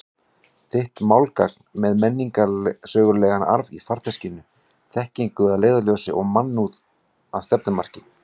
Þitt málgagn með menningarsögulegan arf í farteskinu, þekkingu að leiðarljósi og mannúð að stefnumarki.